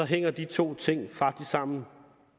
hænger de to ting faktisk sammen